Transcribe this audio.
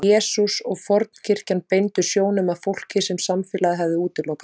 Jesús og fornkirkjan beindu sjónum að fólki sem samfélagið hafði útilokað.